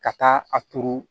Ka taa a turu